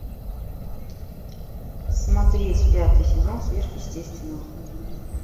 смотреть пятый сезон сверхъестественного